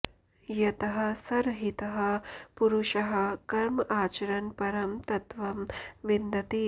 यतः सरहितः पुरुषः कर्म आचरन् परं तत्त्वं विन्दति